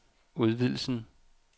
udvidelsen